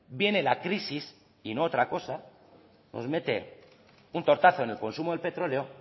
viene la crisis y no otra cosa nos mete un tortazo en el consumo del petróleo